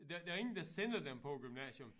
Der der ingen der sender dem på æ gymnasium